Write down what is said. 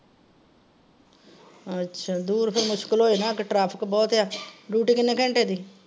ਅੱਛਾ ਦੂਰ ਫੇਰ ਮੁਸ਼ਕਿਲ ਹੋ ਜਾਣਾ। ਅੱਗੇ traffic ਬਹੁਤ ਆ। duty ਕਿੰਨੇ ਘੰਟੇ ਦੀ?